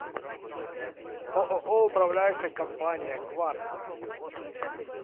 ооо управляющая компания квартал